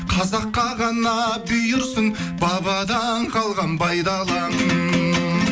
қазаққа ғана бұйырсын бабадан қалған бай далам